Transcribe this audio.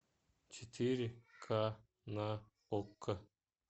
четыре к на окко